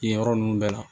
Yen yɔrɔ ninnu bɛɛ la